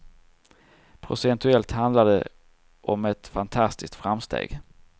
Procentuellt sett handlar det om ett fantastiskt framsteg.